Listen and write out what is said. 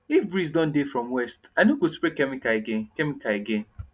if breeze don dey from west i no go spray chemical again chemical again